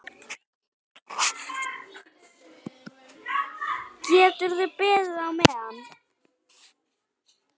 Geturðu beðið á meðan.